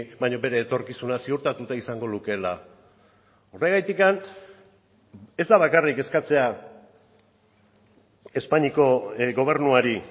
baina bere etorkizuna ziurtatuta izango lukeela horregatik ez da bakarrik eskatzea espainiako gobernuari